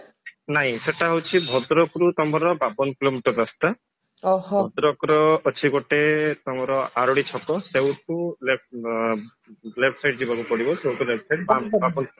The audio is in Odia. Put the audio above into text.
ନାଇଁ ସେଇଟା ହଉଛି ଭଦ୍ରକରୁ ବାବନ kilometer ରାସ୍ତା ଭଦ୍ରକର ତମର ଅଛି ଗୋଟେ ଆରଡି ଛକ ସେଇଠୁ left left side ଯିବାକୁ ପଡିବ